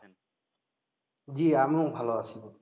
জি আমিও ভালো আছি।